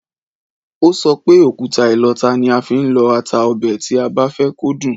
Ó sọ pé, òkúta ìlọta ni a fi ń lọ ata ọbẹ̀ tí a bá fẹ́ kó dùn